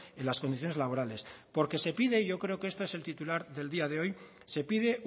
en las condiciones laborales porque se pide yo creo que esto es el titular del día de hoy se pide